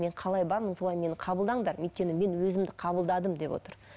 мен қалай бармын солай мені қабылдаңдар өйткені мен өзімді қабылдадым деп отыр